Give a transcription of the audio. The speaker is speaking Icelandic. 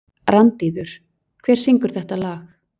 Randíður, hver syngur þetta lag?